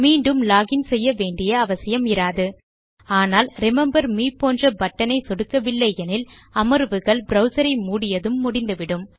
மீண்டும் log in செய்ய வேண்டிய அவசியம் இராது ஆனால் ரிமெம்பர் மே போன்ற பட்டன் ஐ சொடுக்கவில்லை எனில் அமர்வுகள் ப்ரவ்சர் ஐ மூடியதும் முடிந்துவிடும்